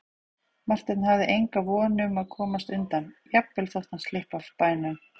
Marteinn hafði enga von um að komast undan, jafnvel þótt hann slyppi af bænum.